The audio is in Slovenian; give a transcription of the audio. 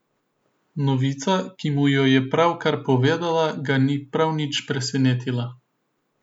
Novica, ki mu jo je pravkar povedala, ga ni prav nič presenetila.